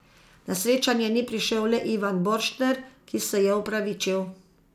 Na srečanje ni prišel le Ivan Borštner, ki se je opravičil.